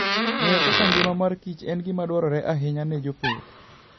Ng'eyo kaka ngima mar Kichen gima dwarore ahinya ne jopith.